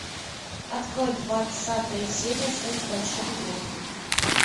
открой двадцатая серия секс в большом городе